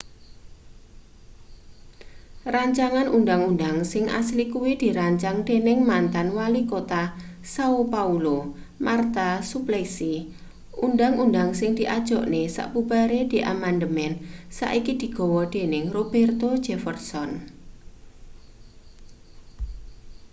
rancangan undhang-undhang sing asli kuwi dirancang dening mantan walikota são paulo marta suplicy. undhang-undhang sing diajokne sabubare diamandemen saiki digawa dening roberto jefferson